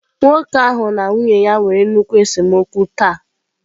Nwoke ahụ na nwunye ya nwere nnukwu esemokwu taa.